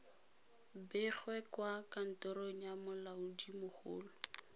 begwe kwa kantorong ya molaodimogolo